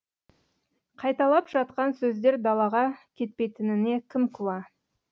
қайталап жатқан сөздер далаға кетпейтініне кім куә